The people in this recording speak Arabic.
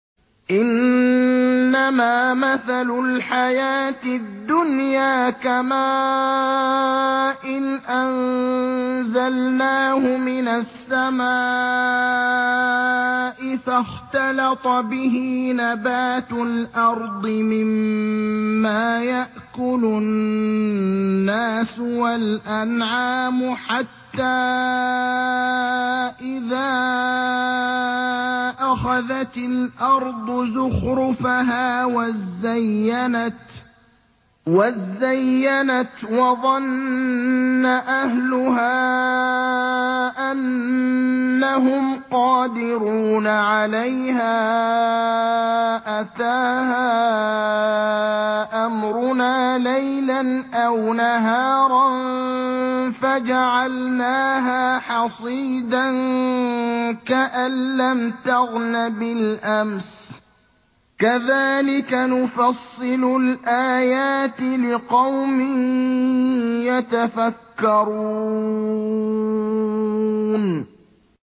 إِنَّمَا مَثَلُ الْحَيَاةِ الدُّنْيَا كَمَاءٍ أَنزَلْنَاهُ مِنَ السَّمَاءِ فَاخْتَلَطَ بِهِ نَبَاتُ الْأَرْضِ مِمَّا يَأْكُلُ النَّاسُ وَالْأَنْعَامُ حَتَّىٰ إِذَا أَخَذَتِ الْأَرْضُ زُخْرُفَهَا وَازَّيَّنَتْ وَظَنَّ أَهْلُهَا أَنَّهُمْ قَادِرُونَ عَلَيْهَا أَتَاهَا أَمْرُنَا لَيْلًا أَوْ نَهَارًا فَجَعَلْنَاهَا حَصِيدًا كَأَن لَّمْ تَغْنَ بِالْأَمْسِ ۚ كَذَٰلِكَ نُفَصِّلُ الْآيَاتِ لِقَوْمٍ يَتَفَكَّرُونَ